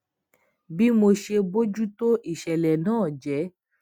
bí mo ṣe bójú tó isele náà jé